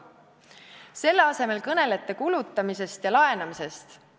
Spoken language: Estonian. Selle asemel kõnelete kulutamisest ja laenamisest.